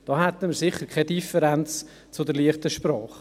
Damit hätten wir sicherlich keine Differenz zur «leichten Sprache».